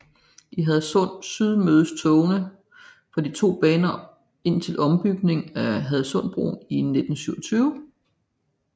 I Hadsund Syd mødtes togene fra de to baner indtil ombygningen af Hadsundbroen i 1927